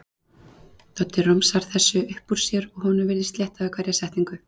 Doddi romsar þessu upp úr sér og honum virðist létta við hverja setningu.